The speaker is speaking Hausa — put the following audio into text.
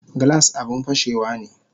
Glass abun fashewane